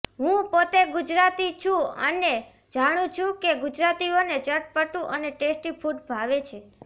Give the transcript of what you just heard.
હું પોતે ગુજરાતી છું અને જાણું છું કે ગુજરાતીઓને ચટપટું અને ટેસ્ટી ફૂડ ભાવે છે